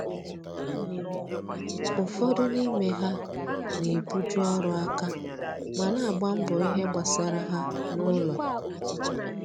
ụfọdụ n'ime ha na ebu ju ọrụ aka ma na agba mbọ ìhè gbasara ha na ụlọ